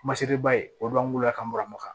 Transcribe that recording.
Masiriba ye o de b'an wolo la ka n bɔra moka